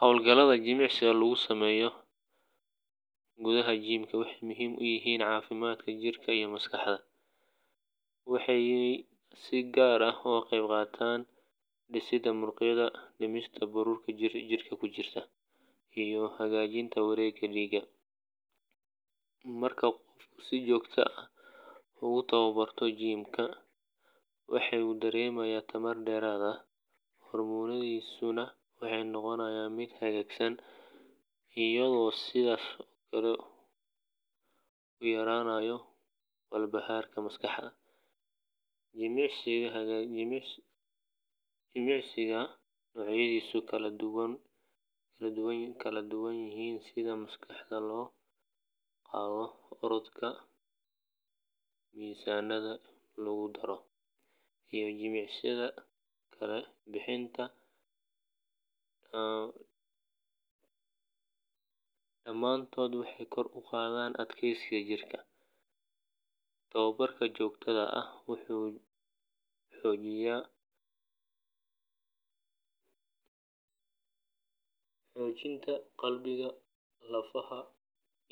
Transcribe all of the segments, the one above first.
Hawlgallada jimicsiga ee lagu sameeyo gudaha jimka waxay muhiim u yihiin caafimaadka jirka iyo maskaxda, waxaana ay si gaar ah uga qayb qaataan dhisidda murqaha, dhimista baruurta jirka ku jirta, iyo hagaajinta wareegga dhiigga. Marka qofku si joogto ah ugu tababarto jimka, wuxuu dareemayaa tamar dheeraad ah, hurdadiisuna waxay noqotaa mid hagaagsan, iyadoo sidoo kale uu yareeyo walbahaarka maskaxda. Jimicsiyada noocyadoodu kala duwan yihiin sida miisaanka la qaado, orodka mashiinnada lagu ordo, iyo jimicsiyada kala bixinta, dhammaantood waxay kor u qaadaan adkeysiga jidhka. Tababarka joogtada ah wuxuu xoojiyaa qalbiga, lafaha,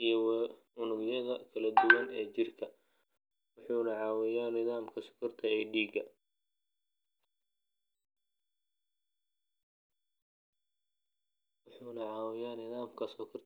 iyo unugyada kala duwan ee jirka, waxaana uu caawiyaa nidaaminta sokorta dhiigga iyo cadaadiska dhiigga.